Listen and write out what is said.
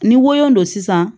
Ni woyo don sisan